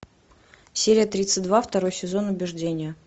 серия тридцать два второй сезон убеждение